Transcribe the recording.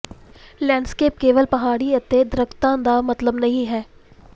landscape ਕੇਵਲ ਪਹਾੜੀਆਂ ਅਤੇ ਦਰੱਖਤਾਂ ਦਾ ਮਤਲਬ ਨਹੀਂ ਹੈ